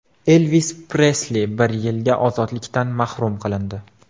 Elvis Presli bir yilga ozodlikdan mahrum qilindi.